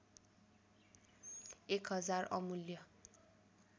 १ हजार अमूल्य